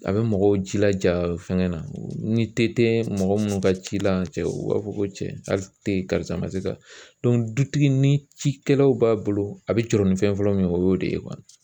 A bɛ mɔgɔw jilaja fɛnkɛ na ni te tɛ mɔgɔ minnu ka ci la, cɛw u b'a fɔ ko cɛ ali tɛ karisa ma sz ka dutigi ni cikɛlaw b'a bolo, a bɛ jɔrɔ ni fɛn fɔlɔ min ye, o y'o de ye